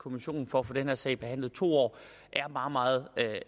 kommissionen for at få den her sag behandlet to år er bare meget